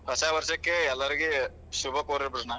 ಹೊಸ ವಷ೯ಕ್ಕೆ ಎಲ್ಲರಿಗೆ ಶುಭ ಕೊರೇ ಬಿಡೋಣ.